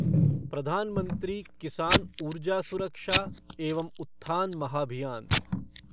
प्रधान मंत्री किसान ऊर्जा सुरक्षा एवम् उत्थान महाभियान